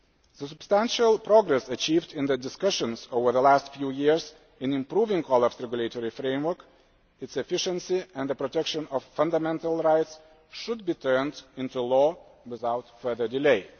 The substantial progress achieved in the discussions over the last few years in improving OLAF's regulatory framework, its efficiency and the protection of fundamental rights should be turned into law without further delay.